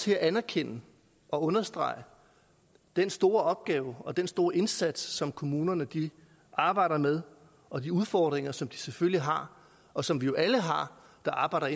her anerkende og understrege den store opgave og den store indsats som kommunerne arbejder med og de udfordringer som de selvfølgelig har og som vi jo alle der arbejder